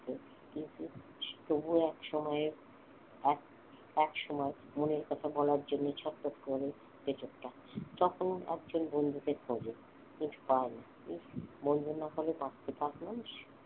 কিন্তু তবুও এক সময়ে এক এক সময়ে মনের কথা বলার জন্য ছটফট করে তখন একজন বন্ধুকে খোঁজে কিন্তু পায় না বন্ধু না হলে বাচতে পারে মানুষ